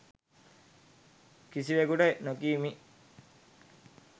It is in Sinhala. කිසිවෙකුට නොකියමි.